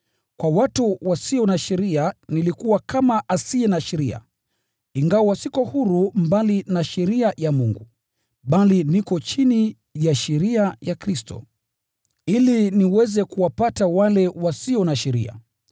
Kwa watu wasio na sheria nilikuwa kama asiye na sheria (ingawa siko huru mbali na sheria ya Mungu, bali niko chini ya sheria ya Kristo), ili niweze kuwapata wale wasio na sheria.